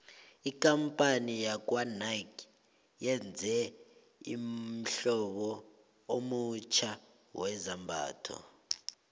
ikampani yakwanike yenze ummhlobo omutjha wezambhatho